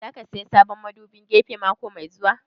Za ka saya sabon madubin gefe mako mai zuwa?